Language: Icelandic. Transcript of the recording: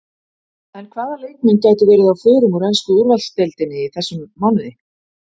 En hvaða leikmenn gætu verið á förum úr ensku úrvalsdeildinni í þessum mánuði?